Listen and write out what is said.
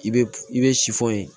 I bɛ i bɛ ye